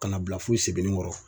Ka na bila fo segukɔrɔ.